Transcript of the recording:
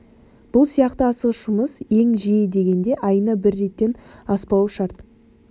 бұл сияқты асығыс жұмыс ең жиі дегенде айына бір реттен аспауы шарт